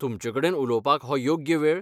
तुमचेकडेन उलोवपाक हो योग्य वेळ ?